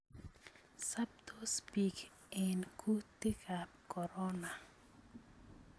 Soptos biik en kutikab corona